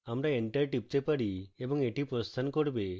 আমরা enter টিপতে পারি এবং এটি প্রস্থান করবে